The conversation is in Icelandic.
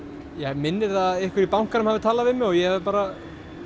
mig minnir að einhver í bankanum hafi talað við mig og ég hafi bara